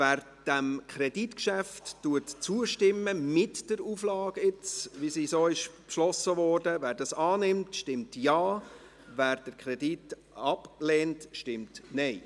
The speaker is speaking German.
Wer dem Kreditgeschäft mit der Auflage, wie sie beschlossen wurde, zustimmt, stimmt Ja, wer den Kredit ablehnt, stimmt Nein.